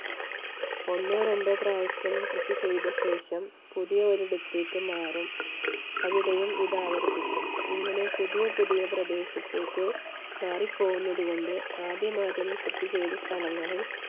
ഒന്നോ രണ്ടോ പ്രാവശ്യം കൃഷി ചെയ്ത ശേഷം പുതിയ ഒരിടത്തേക്ക് മാറും. അവിടെയും ഇത് ആവർത്തിക്കും. ഇങ്ങനെ പുതിയ പുതിയ പ്രദേശത്തേക്ക് മാറിപ്പോകുന്നത് കൊണ്ട് ആദ്യം ആദ്യം കൃഷി ചെയ്ത സ്ഥലങ്ങളിൽ